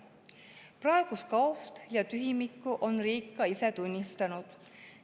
Praegust kaost ja tühimikku on riik ka ise tunnistanud.